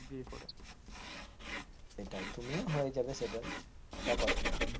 সেটাই তুমিও হয়ে যাবে settle ওটা কথা নয়।